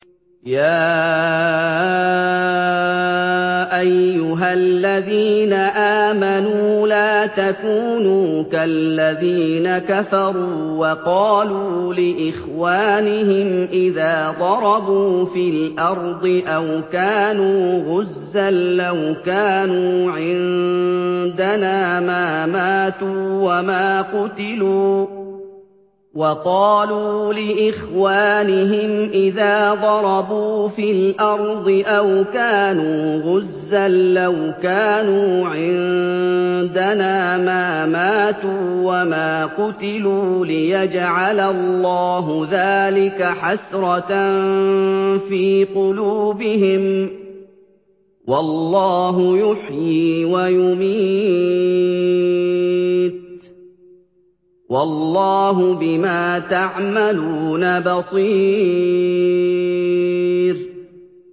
يَا أَيُّهَا الَّذِينَ آمَنُوا لَا تَكُونُوا كَالَّذِينَ كَفَرُوا وَقَالُوا لِإِخْوَانِهِمْ إِذَا ضَرَبُوا فِي الْأَرْضِ أَوْ كَانُوا غُزًّى لَّوْ كَانُوا عِندَنَا مَا مَاتُوا وَمَا قُتِلُوا لِيَجْعَلَ اللَّهُ ذَٰلِكَ حَسْرَةً فِي قُلُوبِهِمْ ۗ وَاللَّهُ يُحْيِي وَيُمِيتُ ۗ وَاللَّهُ بِمَا تَعْمَلُونَ بَصِيرٌ